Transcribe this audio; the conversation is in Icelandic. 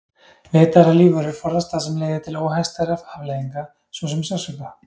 Vitað er að lífverur forðast það sem leiðir til óhagstæðra afleiðinga svo sem sársauka.